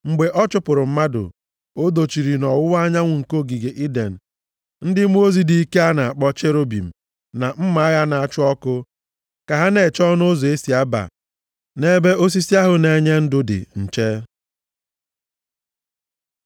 Mgbe ọ chụpụrụ mmadụ, o dochiri nʼọwụwa anyanwụ nke ogige Iden ndị mmụọ ozi dị ike a na-akpọ Cherubim, na mma agha na-acha ọkụ, ka ha na-eche ọnụ ụzọ e si aba nʼebe osisi ahụ na-enye ndụ dị nche.